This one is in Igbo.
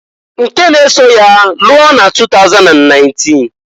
Nke n'eso ya lụọ na 2019.